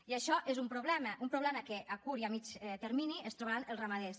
i això és un problema un problema que a curt i a mitjà termini es trobaran els ramaders